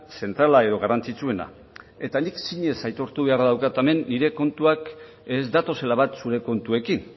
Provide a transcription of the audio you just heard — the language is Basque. zentrala edo garrantzitsuena eta nik zinez aitortu beharra daukat hemen nire kontuak ez datozela bat zure kontuekin